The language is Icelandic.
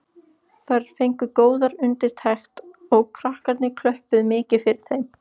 Þær fengu góðar undirtektir og krakkarnir klöppuðu mikið fyrir þeim.